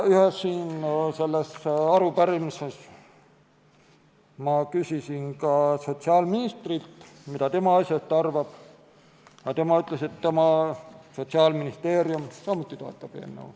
Ühes arupärimises ma küsisin ka sotsiaalministrilt, mida tema asjast arvab, aga tema ütles, et Sotsiaalministeerium samuti toetab eelnõu.